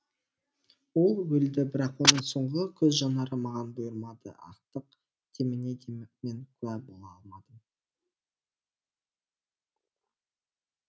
ол өлді бірақ оның соңғы көз жанары маған бұйырмады ақтық деміне де мен куә бола алмадым